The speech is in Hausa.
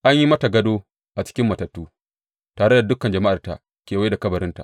An yi mata gado a cikin matattu, tare da dukan jama’arta kewaye da kabarinta.